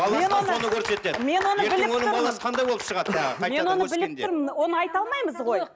оны айта алмаймыз ғой